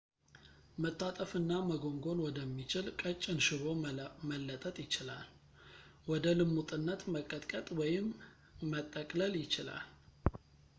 መታጠፍ እና መጎንጎን ወደሚችል ቀጭን ሽቦ መለጠጥ ይችላል ወደ ልሙጥነት መቀጥቀጥ ወይም መጠቅለል ይችላል